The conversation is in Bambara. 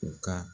U ka